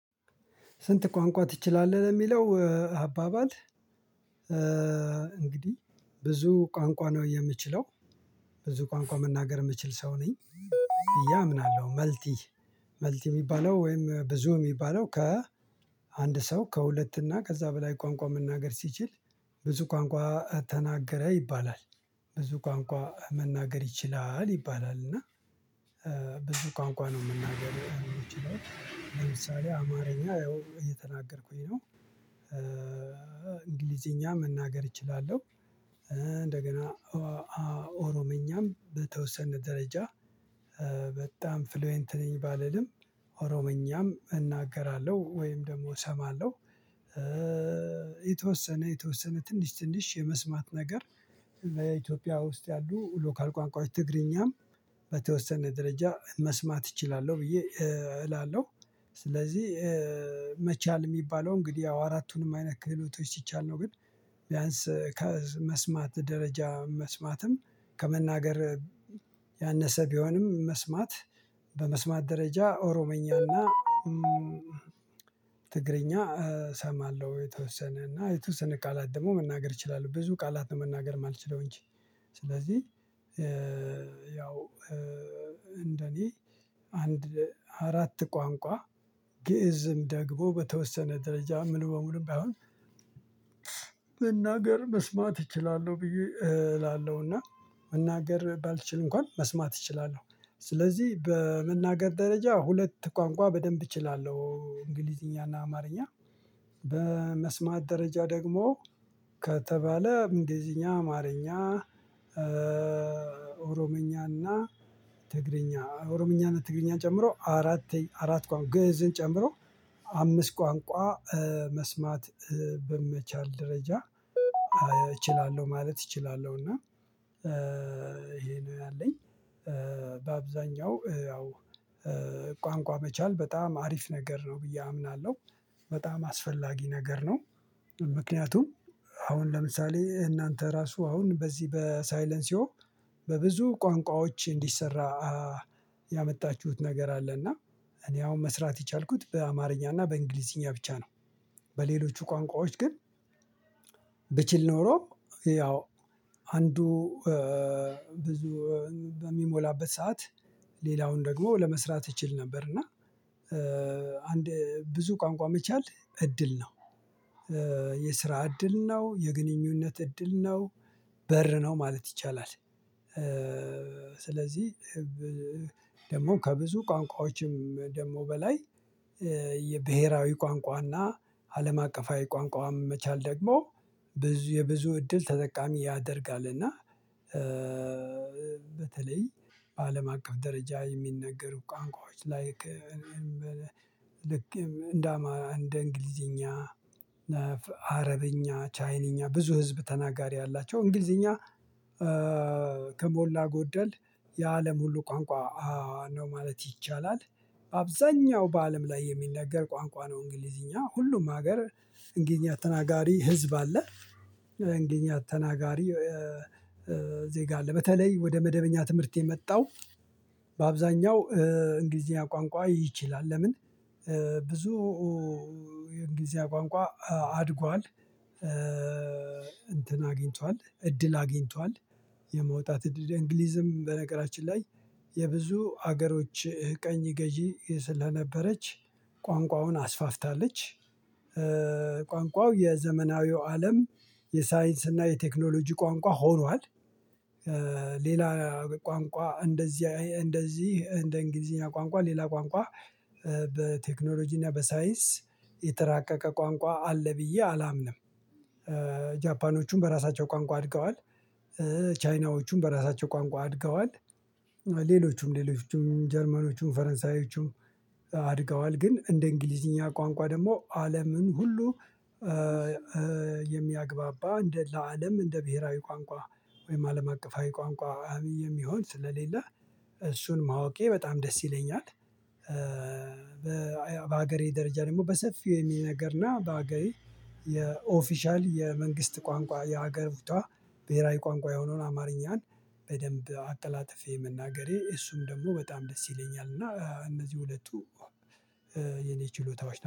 ስንት? ቋንቋ ትችላለህ ለሚለው አባባል። እንግዲህ ብዙ ቋንቋ ነው የምችለው። ብዙ ቋንቋ መናገር የምችል ሰው ነኝ። ብዬ አምናለሁ መልቲ። መልቲ የሚባለው ወይም ብዙ የሚባለው ከ አንድ ሰው ከሁለት እና ከዛ በላይ ቋንቋ መናገር ሲችል። ብዙ ቋንቋ ተናገረ ይባላል። ብዙ ቋንቋ መናገር ይችላል ይባላል እና። ብዙ ቋንቋ ነው የምናገረው ይችላል ለምሳሌ አማርኛ ያው እየተናገርኩኝ ነው። እንግሊዘኛ መናገር እችላለሁ። እንደገና ኦሮምኛም በተወሰነ ደረጃ በጣም ፍሉዌንት ነኝ ባልልም ኦሮሞኛም እናገራለሁ ወይም ደግሞ እሰማለሁ። የተወሰነ የተወሰነ ትንሽ ትንሽ የመስማት ነገር። በኢትዮጵያ ውስጥ ያሉ ሎካል ቋንቋዎች ትግርኛም በተወሰነ ደረጃ መስማት እችላለሁ ብዬ እላለሁ። ስለዚህ መቻል የሚባለው እንግዲህ ያው አራቱንም አይነት ክህሎቶች ሲቻል ነው። ግን ቢያንስ ከመስማት ደረጃ መስማትም ከመናገር ያነሰ ቢሆንም መስማት በመስማት ደረጃ ኦሮሞኛና ትግርኛ እሰማለሁ የተወሰነና የተወሰነ ቃላት ደግሞ መናገር እችላለሁ። ብዙ ቃላት መናገር የማልችለው እንጂ ስለዚህ። ያው እንደኔ አንድ አራት ቋንቋ ግእዝም ደግሞ በተወሰነ ደረጃ ምን በሙሉ ባይሆን መናገር መስማት እችላለሁ ብዬ እላለሁና። እና መናገር ባልችል እንኳን መስማት እችላለሁ ስለዚህ በመናገር ደረጃ ሁለት ቋንቋ በደንብ እችላለሁ እንግሊዝኛና አማርኛ። በመስማት ደረጃ ደግሞ ከተባለ እንግሊዝኛ አማርኛ። ኦሮምኛና ትግርኛ ኦሮምኛና ትግርኛን ጨምሮ አራት አራት ቋንቋ ግእዝን ጨምሮ አምስት ቋንቋ መስማት በመቻል ደረጃ እችላለሁ ማለት እችላለሁና። እና ይሄ ነው ያለኝ። በአብዛኛው ያው ቋንቋ መቻል በጣም አሪፍ ነገር ነው ብዬ አምናለሁ። በጣም አስፈላጊ ነገር ነው። ምክንያቱም አሁን ለምሳሌ እናንተ ራሱ አሁን በዚህ በሳይለን ሲሆን በብዙ ቋንቋዎች እንዲሰራ ያመጣችሁት ነገር አለ። እና እኔ አሁን መስራት የቻልኩት በአማርኛ እና በእንግሊዝኛ ብቻ ነው። በሌሎቹ ቋንቋዎች ግን ብችል ኖሮ ያው አንዱ ብዙ በሚሞላበት ሰዓት ሌላውን ደግሞ ለመስራት እችል ነበር። እና አንድ ብዙ ቋንቋ መቻል እድል ነው። የስራ እድል ነው የግንኙነት እድል ነው በር ነው ማለት ይቻላል። ስለዚህ ደግሞ ከብዙ ቋንቋዎችም ደግሞ በላይ የብሄራዊ ቋንቋና አለም አቀፋዊ ቋንቋም መቻል ደግሞ ብዙ የብዙ እድል ተጠቃሚ ያደርጋልና። በተለይ በአለም አቀፍ ደረጃ የሚነገሩ ቋንቋዎች ላይክ ልክ እንደ አማ እንግሊዘኛ። አረብኛ ቻይንኛ ብዙ ህዝብ ተናጋሪ አላቸው እንግሊዝኛ። ከሞላ ጎደል የአለም ሁሉ ቋንቋ ነው ማለት ይቻላል። አብዛኛው በአለም ላይ የሚነገር ቋንቋ ነው እንግሊዝኛ ሁሉም ሀገር እንግሊዝኛ ተናጋሪ ህዝብ አለ። እንግሊዝኛ ተናጋሪ ዜጋ አለ። በተለይ ወደ መደበኛ ትምህርት የመጣው በአብዛኛው እንግሊዝኛ ቋንቋ ይችላል ለምን? ብዙ የእንግሊዝ ቋንቋ አድጓል። እንትን አግኝቷል እድል አግኝቷል የመውጣት እድል እንግሊዝም በነገራችን ላይ የብዙ ሀገሮች ቀኝ ገዢ ስለነበረች ቋንቋውን አስፋፍታለች። ቋንቋው የዘመናዊው አለም የሳይንስ እና የቴክኖሎጂ ቋንቋ ሆኗል። ሌላ ቋንቋ እንደዚህ እንደዚህ እንደ እንግሊዝኛ ቋንቋ ሌላ ቋንቋ በቴክኖሎጂ እና በሳይንስ የተራቀቀ ቋንቋ አለ ብዬ አላምንም። በራሳቸው ቋንቋ አድገዋል። ቻይናዎችን በራሳቸው ቋንቋ አድገዋል ሌሎቹም ሌሎችም ጀርመኖችም ፈረንሳዮችም አድገዋል ግን እንደ እንግሊዝኛ ቋንቋ ደግሞ አለምን ሁሉ። የሚያግባባ እንደ ለአለም እንደ ብሄራዊ ቋንቋ ወይም አለም አቀፋዊ ቋንቋ የሚሆን ስለሌለ እሱን ማወቄ በጣም ደስ ይለኛል። በሀገሬ ደረጃ ደግሞ በሰፊው የሚነገርና በሀገሬ የኦፊሻል የመንግስት ቋንቋ የሀገር ብሄራዊ ቋንቋ የሆነውን አማርኛን በደንብ አቀላጥፌ መናገሬ እሱም ደግሞ በጣም ደስ ይለኛል። እና እነዚህ ሁለቱ የኔ ችሎታዎች